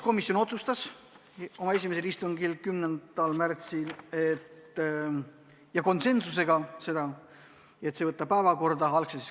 Komisjon otsustas oma esimesel istungil 10. märtsil konsensusega, et selle võiks täiskogu päevakorda võtta.